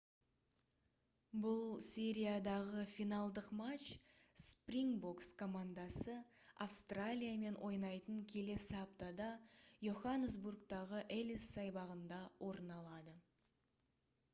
бұл сериядағы финалдық матч спрингбокс командасы австралиямен ойнайтын келесі аптада йоханнесбургтағы эллис саябағында орын алады